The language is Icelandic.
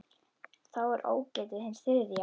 Þá er ógetið hins þriðja.